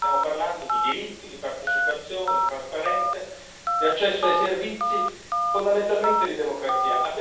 E qui stiamo parlando di diritti, di partecipazione, di trasparenza, di accesso ai servizi, fondamentalmente di democrazia.